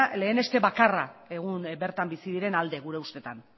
leheneste bakarra egun bertan bizi diren alde gure ustetan